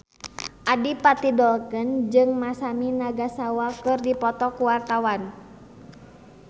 Adipati Dolken jeung Masami Nagasawa keur dipoto ku wartawan